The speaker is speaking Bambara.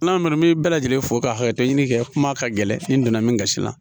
N'a nana n bɛ bɛɛ lajɛlen fo ka hakɛ to ɲini kɛ kuma ka gɛlɛn n donna min kasi la